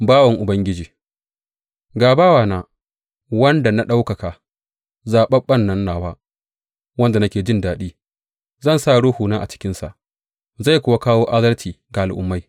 Bawan Ubangiji Ga bawana, wanda na ɗaukaka, zaɓaɓɓen nan nawa wanda nake jin daɗi; Zan sa Ruhuna a cikinsa zai kuwa kawo adalci ga al’ummai.